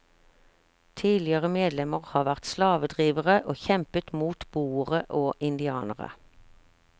Tidligere medlemmer har vært slavedrivere og kjempet mot boere og indianere.